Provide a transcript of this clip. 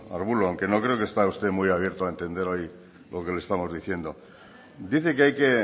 arbulo aunque no creo está usted muy abierto a entender hoy lo que le estamos diciendo dice que hay que